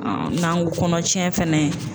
n'an ko kɔnɔ tiɲɛ fɛnɛ